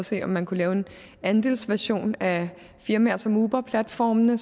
se om man kunne lave en andelsversion af firmaer som uberplatformene